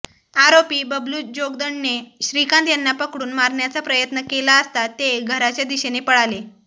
आरोपी बबलू जोगदंडने श्रीकांत यांना पकडून मारण्याचा प्रयत्न केला असता ते घराच्या दिशेने पळाले